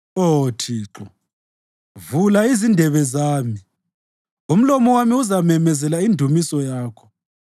Oh Thixo, vula izindebe zami, umlomo wami uzamemezela indumiso yakho.